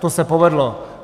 To se povedlo.